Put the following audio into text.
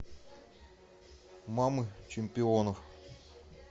мамы чемпионов